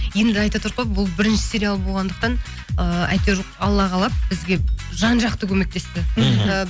енді айтыватырқ қой бұл бірінші сериал болғандықтан ыыы әйтеуір алла қалап бізге жан жақты көмектесті мхм ы